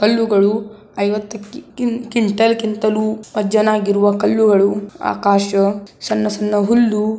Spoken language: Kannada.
ಕಲ್ಲುಗಳು ಐವತ್ತು ಕ್ವಿನ್ಟಾಲ್ ಗಿಂತಲೂ ಅಜ್ಜನಾಗಿರುವ ಕಲ್ಲುಗಳು ಆಕಾಶ ಸಣ್ಣ ಸಣ್ಣ ಹುಲ್ಲು.--